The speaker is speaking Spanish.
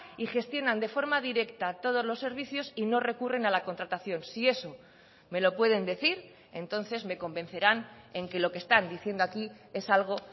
y gestionan de forma directa todos los servicios y no recurren a la contratación si eso me lo pueden decir entonces me convencerán en que lo que están diciendo aquí es algo